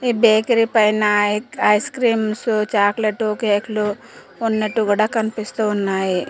ఈ బేకరి పైన ఐక్ ఐస్ క్రీమ్సు చాక్లెట్టు కేక్ లు ఉన్నట్టు గుడా కనిపిస్తూ ఉన్నాయి.